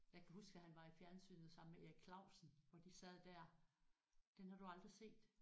Jeg kan huske da han var i fjernsynet sammen med Erik Clausen og de sad der den har du aldrig set